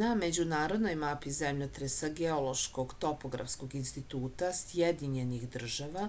na međunarodnoj mapi zemljotresa geološkog topografskog instituta sjedinjenih država